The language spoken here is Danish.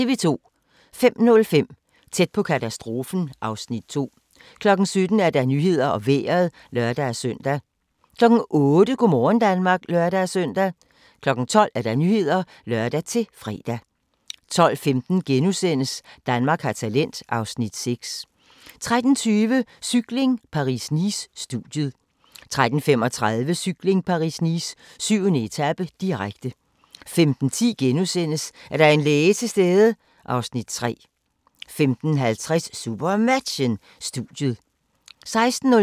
05:05: Tæt på katastrofen (Afs. 2) 07:00: Nyhederne og Vejret (lør-søn) 08:00: Go' morgen Danmark (lør-søn) 12:00: Nyhederne (lør-fre) 12:15: Danmark har talent (Afs. 6)* 13:20: Cykling: Paris-Nice - studiet 13:35: Cykling: Paris-Nice - 7. etape, direkte 15:10: Er der en læge til stede? (Afs. 3)* 15:50: SuperMatchen: Studiet 16:05: SuperMatchen: Skjern-KIF Kolding København (m), direkte